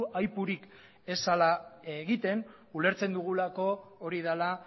aipurik ez zela egiten ulertzen dugulako hori dela